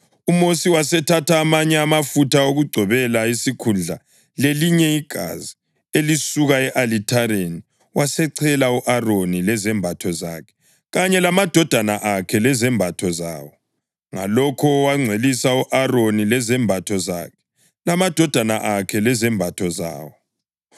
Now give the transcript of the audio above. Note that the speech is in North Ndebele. UMosi wasethatha amanye amafutha okugcobela isikhundla lelinye igazi elisuka e-alithareni, wasechela u-Aroni lezembatho zakhe kanye lamadodana akhe lezembatho zawo. Ngalokho wangcwelisa u-Aroni lezembatho zakhe, lamadodana akhe lezembatho zawo.